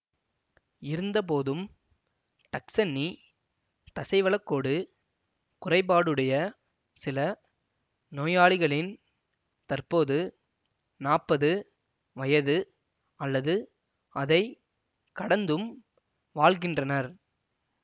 இருந்தபோதும் டக்சென்னி தசைவளக்கோடு குறைபாடுடைய சில நோயாளிகளின் தற்போது நாற்பது வயது அல்லது அதை கடந்தும் வாழ்கின்றனர்